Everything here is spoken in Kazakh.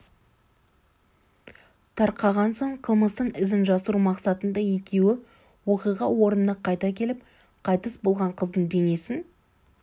тарқаған соң қылмыстың ізін жасыру мақсатында екеуі оқиға орнына қайта келіп қайтыс болған қыздың денесін